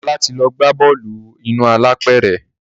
Ọlá ti lọ gbá bọ́ọ̀lù inú apẹ̀rẹ̀